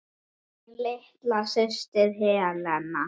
Þín litla systir, Helena.